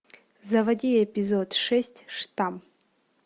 заводи эпизод шесть штамм